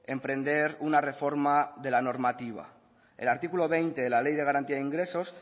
emprender una reforma de la normativa el artículo veinte de la ley de garantía de ingresos